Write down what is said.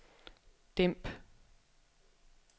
dæmp